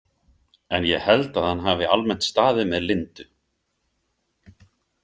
En ég held að hann hafi almennt staðið með Lindu.